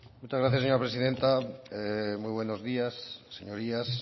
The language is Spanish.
muchas gracias señora presidenta muy buenos días señorías